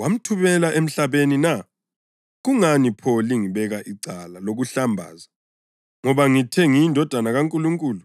wamthumela emhlabeni na? Kungani pho lingibeka icala lokuhlambaza ngoba ngithe ngiyiNdodana kaNkulunkulu?